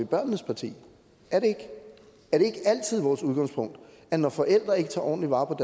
børnenes parti er det ikke er det ikke altid vores udgangspunkt at når forældre ikke tager ordentlig vare på